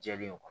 Jɛlen don